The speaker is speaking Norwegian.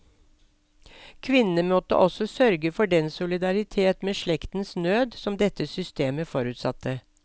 Kvinnene måtte også sørge forden solidaritet med slektens nød som dette systemet forutsatte.